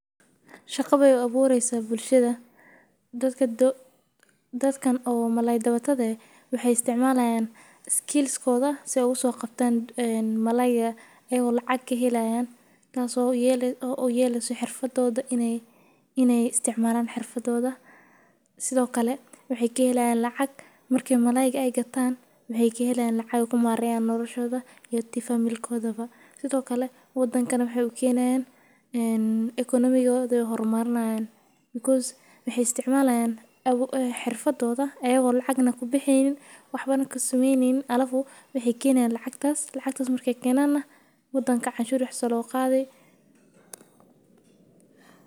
Shaqa be abureysa dadkan malalaydabashaada waxee istimalayan xirfadoda marka mexee ka helayan xirfada ee kushaqeystan Marka lacag bixinta canshuraha diwan wadanka an hada ku nolnahay geeda talalka sanaadki hal mar aya laqabtaa the door muhiim ayey u tahay qabashaadas.